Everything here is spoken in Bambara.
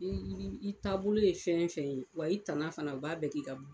I i taabolo ye fɛn o fɛn ye, wa i tana fana u b'a bɛɛ k'i ka